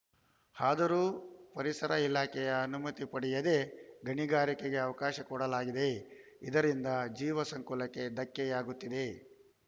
ಆದರೂ ಪರಿಸರ ಇಲಾಖೆಯ ಅನುಮತಿ ಪಡೆಯದೇ ಗಣಿಗಾರಿಕೆಗೆ ಅವಕಾಶ ಕೊಡಲಾಗಿದೆ ಇದರಿಂದ ಜೀವ ಸಂಕುಲಕ್ಕೆ ಧಕ್ಕೆಯಾಗುತ್ತಿದೆ